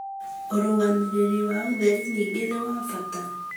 ũrũgamĩrĩri wa ũtheri ningĩ nĩ wa bata,